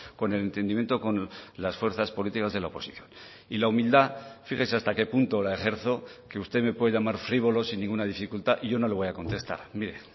con el entendimiento con las fuerzas políticas de la oposición y la humildad fíjese hasta qué punto la ejerzo que usted me puede llamar frívolo sin ninguna dificultad y yo no le voy a contestar mire